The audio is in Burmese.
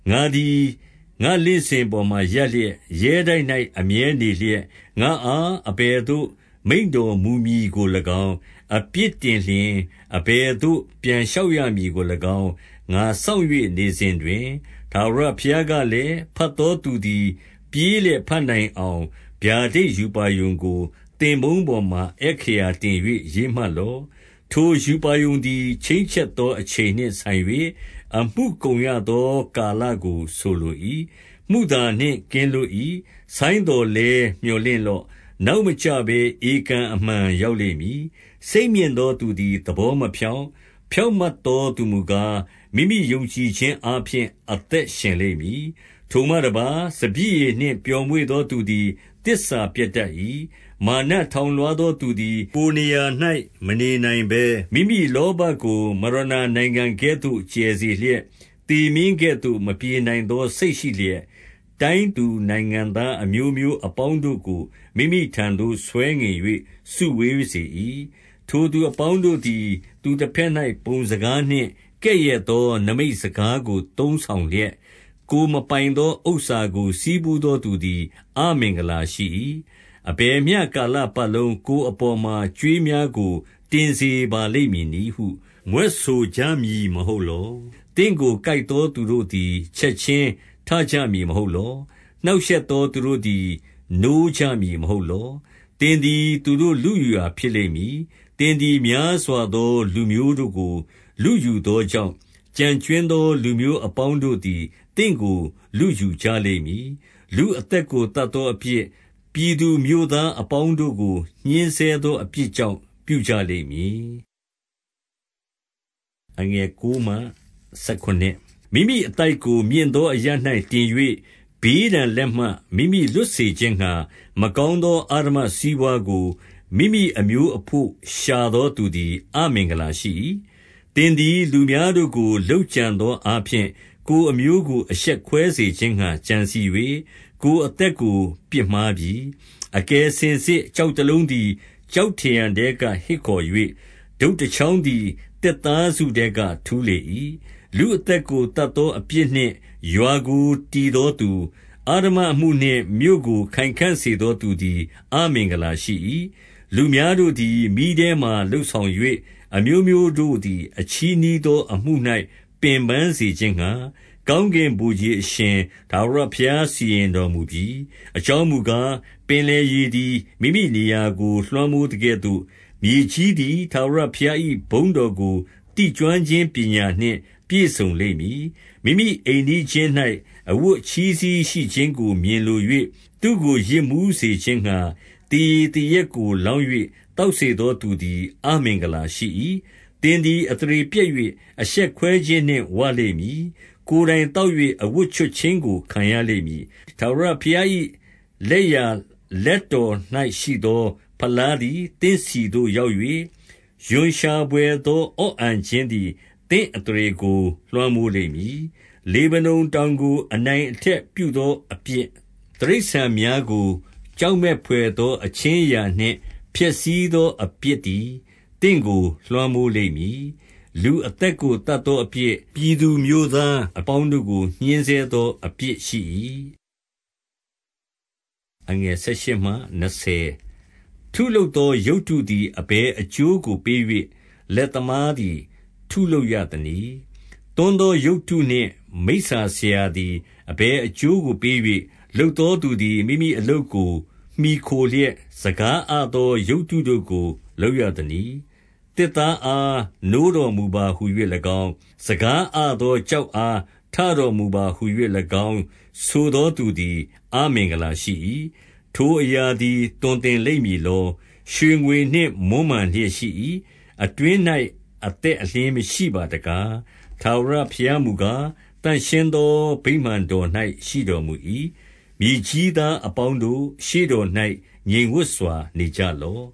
ငါသည် ငါ့လင့်စင်ပေါ်မှာ ရပ်လျက်၊ ရဲတိုက်၌ အမြဲနေလျက်၊ ငါ့အား အဘယ်သို့ မိန့်တော်မူမည်ကို၎င်း၊ အပြစ်တင်လျှင် အဘယ်သို့ ပြန်လျှောက်ရမည်ကို၎င်း ငါစောင့်၍ နေစဉ်တွင်၊ ထာဝရဘုရားကလည်း၊ ဘတ်သော သူသည် ပြေးလျက် ဘတ်နိုင်အောင်၊ ဗျာဒိတ် ရူပါရုံကို သင်ပုန်း ပေါ်မှာ အက္ခရာတင်၍ ရေးမှတ်လော့။ ထိုရူပါရုံသည် ချိန်းချက်သော အချိန်နှင့်ဆိုင်၍ အမှုကုန်ရသော ကာလကို ဆိုလို၏။ မုသာနှင့် ကင်းလွတ် ၏။ ဆိုင်းသော်လည်း မြော်လင့်လော့။ နောက်မကျဘဲ ဧကန်အမှန် ရောက်လိမ့်မည်။ စိတ်မြင့်သော သူသည် သဘောမဖြောင့်။ ဖြောင့်မတ်သော သူမူကား၊ မိမိယုံကြည်ခြင်းအားဖြင့် အသက်ရှင်လိမ့်မည်။ ထိုမှတပါး၊ စပျစ်ရည်နှင့်ပျော်မွေ့သော သူသည် သစ္စာပျက်တတ်၏။ မာနထောင်လွှားသောသူသည် ကိုယ် နေရာ၌မနေနိုင်ဘဲ၊ မိမိလောဘကို မရဏာနိုင်ငံကဲ့သို့ ကျယ်စေလျက်၊ သေမင်းကဲ့သို့ မပြေနိုင်သော စိတ်ရှိ လျက်၊ တိုင်းသူနိုင်ငံသား အမျိုးမျိုးအပေါင်းတို့ကို မိမိထံ သို့ ဆွဲငင်၍ စုဝေးစေ၏။ ထိုသူအပေါင်းတို့သည် သူတဘက်၌ ပုံစကားနှင့် ကဲ့ရဲ့သော နိမိတ်စကားကို သုံးဆောင်လျက်၊ ကိုယ်မပိုင် သော ဥစ္စာကို ဆည်းဖူးသောသူသည် အမင်္ဂလာရှိ၏။ အဘယ်မျှကာလပတ်လုံးကိုယ်အပေါ်မှာ ကြွေးများကို တင်စေပါလိမ့်မည်နည်းဟု မြွက်ဆိုကြမည်မဟုတ်လော။ သင့်ကို ကိုက်သော သူတို့သည် ချက်ခြင်း ထကြ မည်မဟုတ်လော။ နှောင့်ရှက်သော သူတို့သည် နိုးကြမည် မဟုတ်လော။ သင်သည် သူတို့လုယူရာဖြစ်လိမ့်မည်။ သင်သည် များစွာသောလူမျိုးတို့ကို လုယူသော ကြောင့်၊ ကျန်ကြွင်းသော လူမျိုးအပေါင်းတို့သည် သင့်ကို လုယူကြလိမ့်မည်။ လူအသက်ကို သတ်သောအပြစ်၊ ပြည် သူမြို့သားအပေါင်းတို့ကို ညှဉ်းဆဲသောအပြစ်ကြောင့် ပြု ကြလိမ့်မည်။ မိမိအသိုက်ကို မြင့်သော အရပ်၌တင်၍ ဘေး ဒဏ်လက်မှ မိမိလွတ်စေခြင်းငှါ၊ မကောင်းသော အဓမ္မ စီးပွားကို မိမိအမျိုးအဘို့ ရှာသောသူသည် အမင်္ဂလာ ရှိ၏။ သင်သည် လူများတို့ကို လုပ်ကြံသောအားဖြင့် ကိုယ်အမျိုးကို အရှက်ကွဲစေခြင်းငှါ ကြံစည်၍၊ ကိုယ် အသက်ကို ပြစ်မှားပြီ။ အကယ်စင်စစ် ကျောက်တလုံးသည် ကျောက် ထရံထဲက ဟစ်ခေါ်၍၊ ထုပ်တချောင်းသည် သစ်သားစုထဲ က ထူးလေ၏။ လူအသက်ကို သတ်သောအပြစ်နှင့် ရွာကို တည်သောသူ၊ အဓမ္မအမှုနှင့် မြို့ကို ခိုင်ခံ့စေသော သူ သည် အမင်္ဂလာရှိ၏။ လူများတို့သည် မီးထဲမှာ လုပ်ဆောင်၍၊ အမျိုး မျိုးတို့သည် အချည်းနှီးသော အမှု၌ ပင်ပန်းစေခြင်းငှါ၊ ကောင်းကင်ဗိုလ်ခြေအရှင် ထာဝရဘုရားစီရင်တော်မူပြီ။ အကြောင်းမူကား၊ ပင်လယ်ရေသည် မိမိနေရာ ကို လွှမ်းမိုးသကဲ့သို့၊ မြေကြီးသည် ထာဝရဘုရား၏ ဘုန်း တော်ကို သိကျွမ်းခြင်းပညာနှင့် ပြည့်စုံလိမ့်မည်။ မိမိအိမ်နီးချင်း၌ အဝတ်အချည်းစည်းရှိခြင်းကို မြင်လို၍၊ သူ့ကို ယစ်မူးစေခြင်းငှါ သေရည်သေရက်ကို လောင်း၍ သောက်စေသော သူသည် အမင်္ဂလာရှိ၏။ သင်သည် အသရေပျက်၍ အရှက်ကွဲခြင်းနှင့် ဝလိမ့်မည်။ ကိုယ်တိုင်သောက်၍ အဝတ်ချွတ်ခြင်းကို ခံရ လိမ့်မည်။ ထာဝရဘုရား၏ လက်ျာလက်တော်၌ရှိသော ဖလားသည် သင့်ဆီသို့ ရောက်၍၊ ရွံရှာဘွယ်သော အော့ အန်ခြင်းသည် သင့်အသရေကို လွှမ်းမိုးလိမ့်မည်။ လေဗနုန်တောင်ကို အနိုင်အထက်ပြုသော အပြစ်၊ တိရစ္ဆာန်များကို ကြောက်မက်ဘွယ်သော အခြင်း အရာနှင့် ဖျက်ဆီးသော အပြစ်သည် သင့်ကို လွှမ်းမိုးလိမ့် မည်။ လူအသက်ကို သတ်သောအပြစ်၊ ပြည်သူမြို့သား အပေါင်းတို့ကို ညှဉ်းဆဲသော အပြစ်ရှိ၏။ ထုလုပ်သော ရုပ်တုသည် အဘယ်အကျိုးကို ပေး၍၊ လက်သမားသည် ထုလုပ်ရသနည်း။ သွန်းသော ရုပ်တုနှင့်မိစ္ဆာဆရာသည် အဘယ်အကျိုးကို ပေး၍၊ လုပ် သောသူသည် မိမိအလုပ်ကို မှီခိုလျက်၊ စကားအသော ရုပ်တုတို့ကို လုပ်ရသနည်း။ သစ်သားအား၊ နိုးတော်မူပါဟူ၍၎င်း၊ စကား အသောကျောက်အား၊ ထတော်မူပါဟူ၍၎င်း ဆိုသော သူသည် အမင်္ဂလာရှိ၏။ ထိုအရာသည် သွန်သင်လိမ့် မည်လော။ ရွှေငွေနှင့် မွမ်းမံလျက် ရှိ၏။ အတွင်း၌ အသက်အလျှင်းမရှိပါတကား။ ထာဝရဘုရားမူကား၊ သန့်ရှင်းသော ဗိမာန် တော်၌ရှိတော်မူ၏။ မြေကြီးသားအပေါင်းတို့၊ ရှေ့တော်၌ ငြိမ်ဝပ်စွာ နေကြလော့